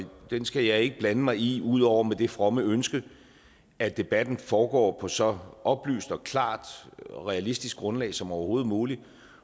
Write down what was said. den skal jeg ikke blande mig i ud over med det fromme ønske at debatten foregår på så oplyst og klart og realistisk et grundlag som overhovedet muligt